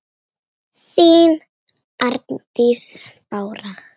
þín Arndís Bára.